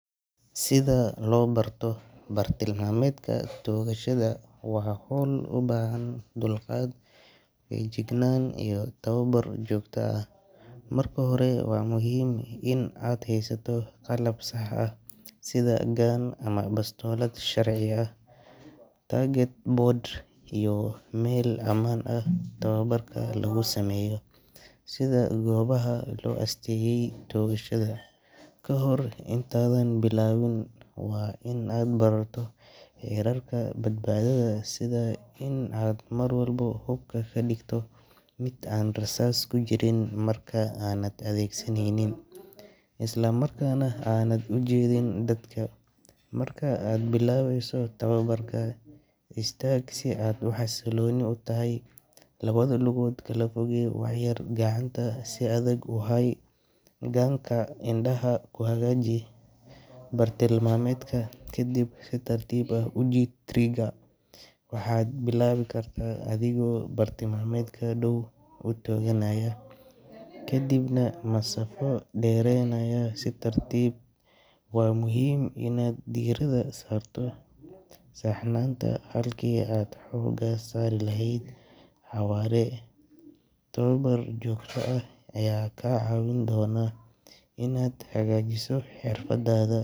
Sida loo barto bartilmaameedka toogashada waa hawl u baahan dulqaad, feejignaan iyo tababar joogto ah. Marka hore, waa muhiim in aad haysato qalab sax ah sida gun ama bastoolad sharci ah, target board iyo meel ammaan ah oo tababarka lagu sameeyo, sida goobaha loo asteeyay toogashada. Kahor intaadan bilaabin, waa in aad barato xeerarka badbaadada, sida in aad mar walba hubka ka dhigto mid aan rasaas ku jirin marka aanad adeegsanaynin, isla markaana aanad u jeedin dadka. Marka aad bilaabayso tababarka, istaag si aad u xasilloon tahay, labada lugood kala fogee wax yar, gacanta si adag u hay gun-ka, indhaha ku hagaaji bartilmaameedka, kadibna si tartiib ah u jiid trigger-ka. Waxaad bilaabi kartaa adigoo bartilmaameedka dhow u tooganaya, kadibna masaafo dheeraynaya si tartiib tartiib ah. Waa muhiim inaad diirada saarto saxnaanta halkii aad xooga saari lahayd xawaare. Tababar joogto ah ayaa kaa caawin doona inaad hagaajiso xirfadaada.